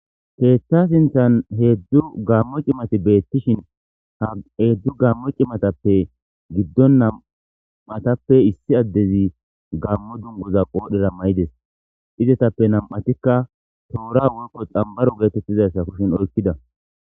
Keththa sinthan heedzdzu gaammo cimati beettishin ha heedzdzu gaammo cimatappe giddon nam'tappe issi addezi gaammo dungoza qoodhera maydes izetappe nam'itkka toora woykko xambaro geetettizassa kushin oykkida.